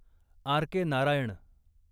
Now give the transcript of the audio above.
RK. Narayan